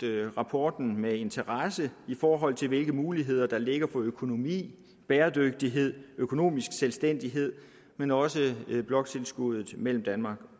rapporten med interesse i forhold til hvilke muligheder der ligger for økonomi bæredygtighed økonomisk selvstændighed men også bloktilskuddet mellem danmark